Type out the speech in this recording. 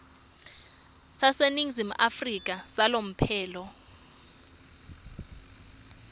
saseningizimu afrika salomphelo